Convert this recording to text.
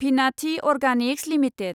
Bhinathi organics limited